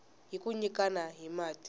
hi ku nyikana hi mati